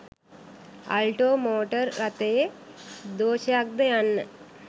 Alto motor රථයේ දෝශයක්ද යන්න